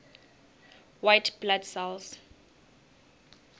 white blood cells